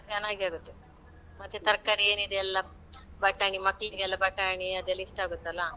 ಚೆನ್ನಾಗಿರುತ್ತೆ. ಮತ್ತೆ ತರ್ಕಾರಿ ಏನಿದೆ ಎಲ್ಲಾ ಬಟಾಣಿ ಮಕ್ಳಿಗೆಲ್ಲಾ ಬಟಾಣಿ ಅದೆಲ್ಲ ಇಷ್ಟ ಆಗುತ್ತಲ್ಲಾ.